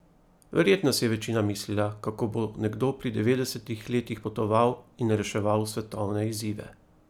Verjetno si je večina mislila, kako bo nekdo pri devetdesetih letih potoval in reševal svetovne izzive.